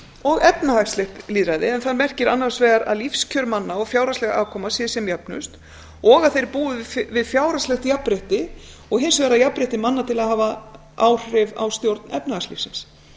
og efnahagslegt lýðræði en það merkir annars vegar að lífskjör manna og fjárhagsleg afkoma sé sem jöfnust og að þeir búi við fjárhagslegt jafnrétti og hins vegar jafnrétti manna til að hafa áhrif á stjórn efnahagslífsins